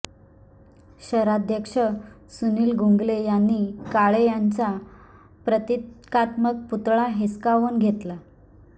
शहराध्यक्ष सुनील गंगुले यांनी काळे यांचा प्रतिकात्मक पुतळा हिसकावून घेतला